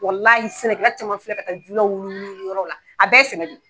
Walahi sɛnɛkɛla caman filɛ ka taa wuli wuli wuli yɔrɔw la a bɛɛ ye sɛnɛ de ye.